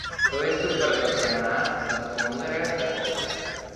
To je super za vse nas, za sponzorje, vse skupaj.